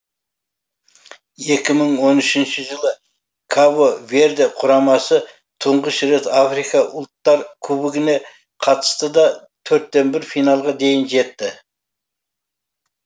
екі мың он үшінші жылы кабо верде құрамасы тұңғыш рет африка ұлттары кубогіне қатысты да төрттен бір финалға дейін жетті